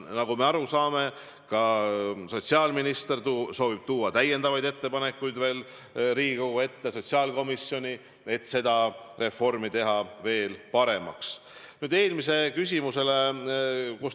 Nagu me aru saame, sotsiaalminister soovib tuua lisaettepanekuid Riigikogu sotsiaalkomisjoni, et seda reformi veel paremaks teha.